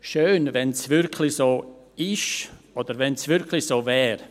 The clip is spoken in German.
Schön, wenn es wirklich so ist oder wirklich so wäre.